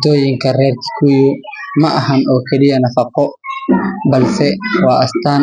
kikuyu maahan kali eh mafaqo balse waa astan.